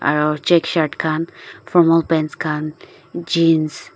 aro check shirt khan formal pants khan jeans .